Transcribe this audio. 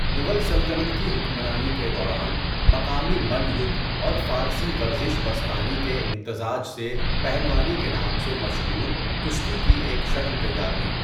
مغل سلطنت کی حکمرانی کے دوران، مقامی مل یدھ اور فارسی ورزیش بستانی کے امتزج سے پہلوانی کے نام سے مشہور کشتی کی ایک شکل تیار ہوئی۔